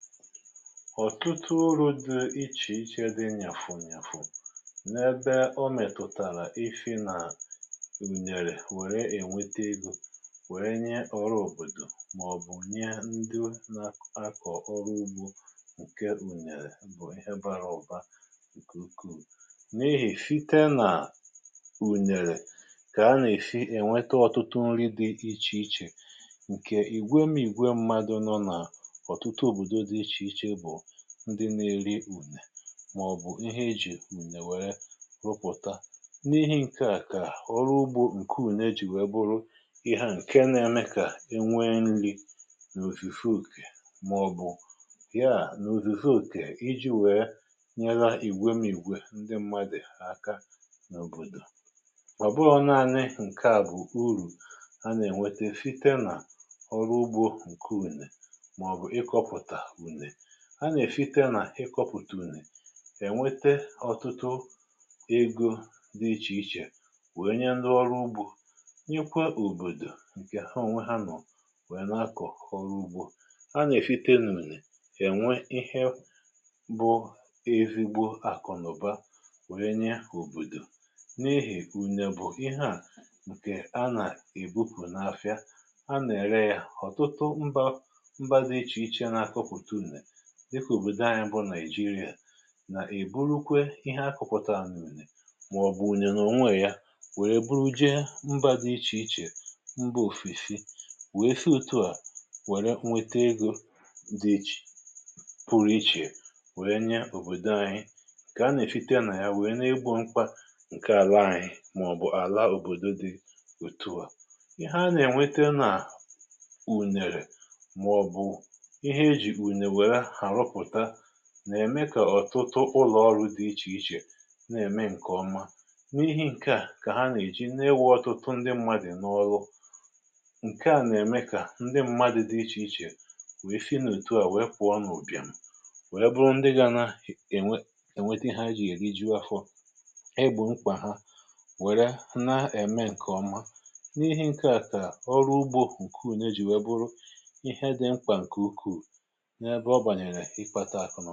ọ̀tụtụ uru̇ dị ichè iche dị nyàfụ̀ nyàfụ n’ebe ọ mètùtàrà isi nà ùnyèrè wère ènwete egȯ, wère nye ọrụ òbòdò, màọ̀bụ̀ nye ndị nȧ akọ̀ ọrụ ugbȯ ǹke ùnyèrè bụ̀ ihe bara ọba nke uku. N'ihì site nà ùnyèrè kà a nà-èsì ènwete ọ̀tụtụ nri dị ichè ichè, ǹke ìgwe m'ìgwe mmadụ̇ nọ nà otùtu òbòdò di ichè ichè ndị nȧ-ėri ùnè màọ̀bụ̀ ihe ejì ùnè wèrè rụpụ̀ta. N’ihi̇ ǹke à, kà ọrụ ugbȯ ǹke ùne jì wèe bụrụ ihe a ǹke nȧ-ėme kà enwe nri nà òzuzu okè. Màọ̀bụ̀ ya nà òzuzu okè iji̇ wèe nyere ìgwè m'ìgwè ndị mmadụ̀ àka n’òbòdò. Mà ọ̀ bụghi nȧanị ǹke à bụ̀ urù a nà-ènwete site nà ọrụ ugbȯ ǹke ùnè màọbụ ịkòpụta ùnè. A nà-èsika nà ịkọpụ̀tù ùnè ẹ̀nwẹtẹ ọ̀tụtụ egȯ dị ichè ichè, wèe nye ndị ọrụ ugbȯ, nyekwa òbòdò, ǹkè ha ònwe ha nọ̀ wèe nà-akọ̀ ọrụ ugbȯ. A nà-èsite na-ùnè ènwe ihe bụ ezigbo àkụ̀ na ụ̀ba, wère nye òbòdò. N'ihì ùnè bụ̀ ihe à, bụ̀ nkè a nà ebupù n’afịa, a nà-ère yȧ. ọ̀tụtụ mbȧ mbȧ dị ichè ichè n’akọpụ̀tụ ùnè dịkà; òbòdò anyị bụ Nàịjirịa àijirià, nà-èburukwe ihe akụ̇pụ̀tàra na ùnè m, mmàọ̀bụ̀ ùnè nà ònwe yȧ, nwèrè e buru je mbȧ dị ichè ichè. Mbȧ òfesi nwèe si òtùà nwèrè nwete egȯ dị ichè, pụrụ ichè nwèe nye òbòdò anyị, kà a nà-èsite nà ya, nwèe na-egbȯ mkpa ǹke àla ànyị màọ̀bụ̀ àla òbòdo dị otù à. Ihe a nà-ènwete nà ùnèrè màọ̀bụ̀ ìhe ejìkwu ùnèrè nwèrè aruputa, nà-ème kà ọ̀tụtụ ụlọ̀ ọrụ dị ichè ichè na-ème ǹkè ọma. nl N’ihi ǹke à, kà ha nà-èji na-enwė ọtụtụ ndị mmadụ̀ n’ọlụ, Nke à nà-ème kà ndị mmadụ̀ dị ichè ichè we si na otu à we pụọ n’ubìàmù, wèe bụrụ ndị ga nà è nwe, ènwete ha jì èri ji afọ, e gbòo mkpà ha, wère na-ème ǹkè ọma. N’ihi ǹke à, kà ọrụ ugbȯ ǹke ùnye jì wèe bụrụ ihe dị mkpà ǹkè ukwù, nà-ebe ọ gbanyere ikwȧtà akụ̀ n-ugba.